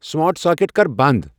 Smart socket کر بند ۔